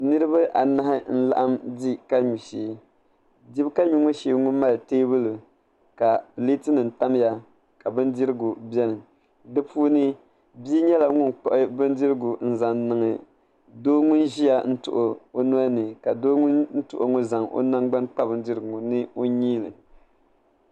Niraba anahi n laɣam di ka nyu shee di ka nyu ŋo shee mali teebuli ka pileeti nim tamya ka bindirigu biɛni bi puuni bia ŋo nyɛla ŋun kpuɣu bindirigu n zaŋ niŋ doo ŋun ʒiya n tuɣo o noli ni ka doo ŋun tuɣo ŋo zaŋ o nangbani kpa bindirigu ŋo ni o nyiili